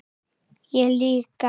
Ég líka.